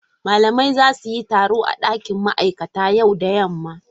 Malamai za su yi taro a dakin ma'aikata yau da yamma.